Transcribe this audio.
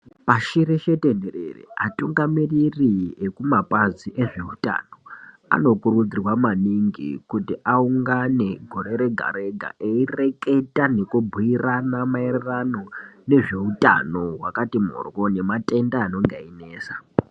Pashii reshe tenderere atungamiriri ekumapazi nezveutano anokurudzirwa maningi kuti aungane gore Rega Rega eireketa nekubhuirana maererano nezveutano wakati moryo nematenda anonga einesa.